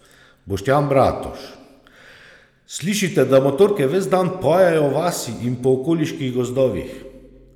Boštjan Bratož: "Slišite, da motorke ves dan pojejo v vasi in po okoliških gozdovih.